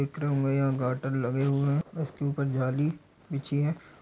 दिख रहा होगा यहाँ गारटन लगे हुए है और उस के उपर जाली बिछी है।